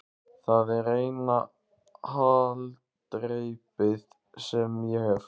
Það er eina haldreipið sem ég hef.